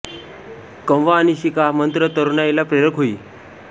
कमवा आणि शिका मंत्र हा तरुणाईला प्रेरक होई